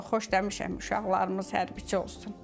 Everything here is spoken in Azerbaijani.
Xoşlamışam uşaqlarımız hərbçi olsun.